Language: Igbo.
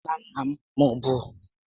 Nna nna m b